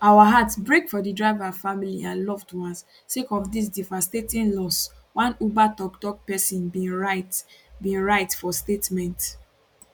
our hearts break for di driver family and loved ones sake of dis devastating loss one uber tokptok pesin bin write bin write for statement